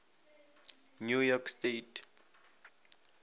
new york state